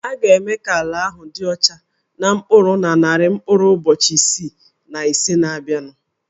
A ga-eme ka ala ahụ dị ọcha na mkpụrụ na narị mkpụrụ ụbọchị isii na ise na-abịanụ